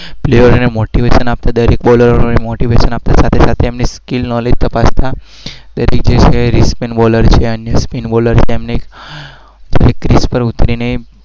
motivation